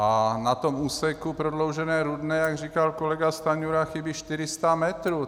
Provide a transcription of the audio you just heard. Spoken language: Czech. A na tom úseku Prodloužené Rudné, jak říkal kolega Stanjura, chybí 400 metrů.